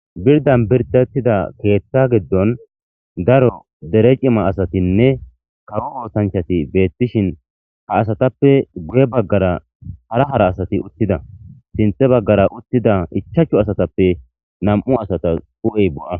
birdan birdettida keeththa giddon daro dere cima asatinne kawo oosanchati beettishin ha asatappe guye baggara hara hara asati uttida sinthe baggara uttida ichachu asatappe nam'u asata hu'ey bo'a